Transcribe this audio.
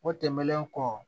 O tɛmɛnen kɔ